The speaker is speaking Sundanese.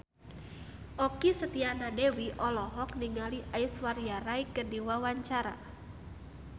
Okky Setiana Dewi olohok ningali Aishwarya Rai keur diwawancara